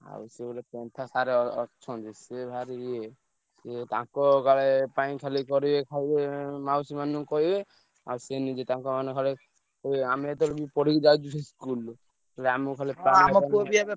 ଆଉ ସେ ଗୋଟେ ପନ୍ଥା sir ଅ~ ଅ~ ଅଛନ୍ତି ସିଏ ଭାରି ଇଏ ସିଏ ତା ଙ୍କ କାଳେ ପାଇଁ ଖାଲି କରିବେ ଖାଇବେ ମାଉସୀ ମାନଙ୍କୁ କହିବେ ଆଉ ସେ ନିଜେ ତାଙ୍କ ଖାଲି କହିବେ ଆମେ ଯେତବେଳେ ବି ପଢିକି ଯାଇଛୁ ସେ school ରୁ। ସିଏ ଆମୁକୁ ଖାଲି ।